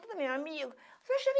minha amigo